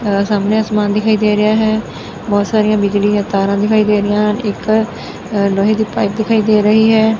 ਸਾਹਮਣੇ ਅਸਮਾਨ ਦਿਖਈ ਦੇ ਰਿਹਾ ਹੈ ਬਹੁਤ ਸਾਰੀਆਂ ਬਿਜਲੀ ਦੀਆਂ ਤਾਰਾਂ ਦਿਖਾਈ ਦੇ ਰਹੀਆਂ ਇਕ ਲੋਹੇ ਦੀ ਪਾਈਪ ਦਿਖਾਈ ਦੇ ਰਹੀ ਹੈ।